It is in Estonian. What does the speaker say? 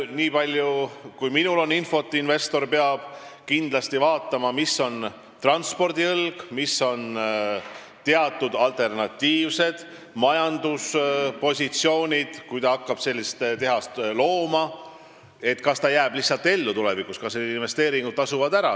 Nii palju kui minul on infot, siis investor, kes hakkab sellist tehast looma, peab kindlasti vaatama, missugune on transpordiõlg, missugused on teatud alternatiivsed majanduspositsioonid, kas ta jääb tulevikus ellu ja kas need investeeringud tasuvad ära.